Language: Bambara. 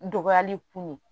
Dɔgɔyali kun ye